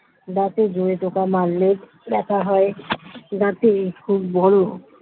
দাঁতে জোরে টোকা মারলেও ব্যাথা হয় দাঁতে খুব বড়